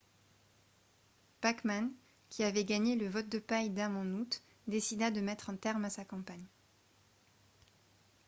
bachmann qui avait gagné le « vote de paille » d’âmes en août décida de mettre un terme à sa campagne